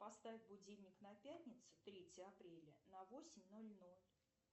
поставь будильник на пятницу третье апреля на восемь ноль ноль